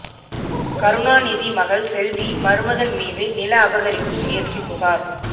கருணாநிதி மகள் செல்வி மருமகன் மீது நில அபகரிப்பு முயற்சி புகார்